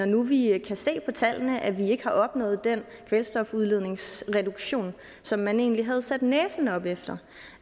nu vi kan se på tallene at vi ikke har opnået den kvælstofudledningsreduktion som man egentlig havde sat næsen op efter